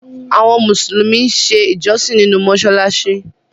Àwọn musulumi n ṣè ìjọ̀ṣìn nínu mosalasi.